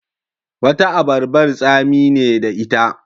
Wata abarbar tsami ne da ita.